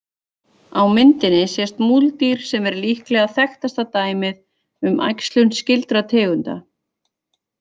Á myndinni sést múldýr sem er líklega þekktasta dæmið um æxlun skyldra tegunda.